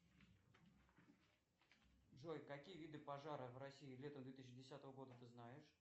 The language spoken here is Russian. джой какие виды пожаров в россии летом две тысячи десятого года ты знаешь